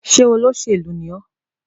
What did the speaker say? Ṣé olóṣèlú ni ọ́?